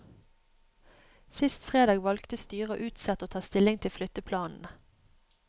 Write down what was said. Sist fredag valgte styret å utsette å ta stilling til flytteplanene.